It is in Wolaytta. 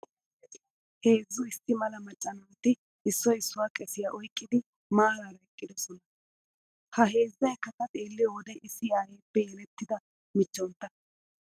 Heezzu issi mala macca naati issoyi issuwa keesiyaa oyikkidi maaraara eqqidosona. Ha heezzayikka ta xeelliyoo wode issi aayeeppe yelettida michchontta.